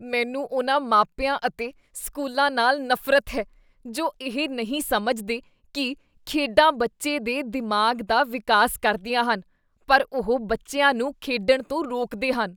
ਮੈਨੂੰ ਉਨ੍ਹਾਂ ਮਾਪਿਆਂ ਅਤੇ ਸਕੂਲਾਂ ਨਾਲ ਨਫ਼ਰਤ ਹੈ ਜੋ ਇਹ ਨਹੀਂ ਸਮਝਦੇ ਕੀ ਖੇਡਾਂ ਬੱਚੇ ਦੇ ਦਿਮਾਗ਼ ਦਾ ਵਿਕਾਸ ਕਰਦੀਆਂ ਹਨ ਪਰ ਉਹ ਬੱਚਿਆਂ ਨੂੰ ਖੇਡਣ ਤੋਂ ਰੋਕਦੇ ਹਨ।